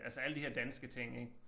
Altså alle de her danske ting ik